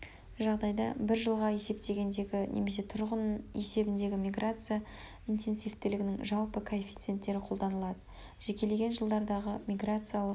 жағдайда бір жылға есептегендегі немесе тұрғын есебіндегі миграция интенсивтілігінің жалпы коэффиценттері қолданылады жекелеген жылдардағы миграциялық